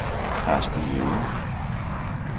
Carsten Jæger